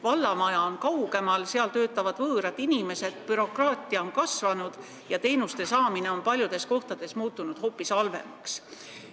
Vallamaja on kaugemal, seal töötavad võõrad inimesed, bürokraatia on kasvanud ja teenuste saamine on paljudes kohtades muutunud hoopis halvemaks.